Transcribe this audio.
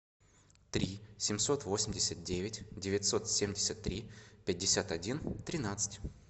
три семьсот восемьдесят девять девятьсот семьдесят три пятьдесят один тринадцать